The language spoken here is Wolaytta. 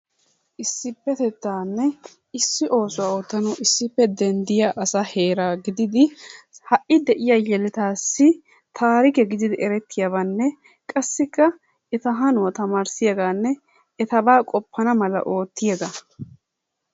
Issipetettanne issi oosuwaa oottanawu issippe denddiya asa heera giddid ha'i de'iyaa yelettas taarikke gidid erettiyaabanne qassikka etta hanuwaa tamarissiyaganne ettaba qofanna mala oottiyaga.